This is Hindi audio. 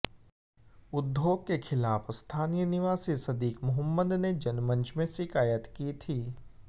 उद्योग के खिलाफ स्थानीय निवासी सदीक मुहम्मद ने जनमंच में शिकायत की थी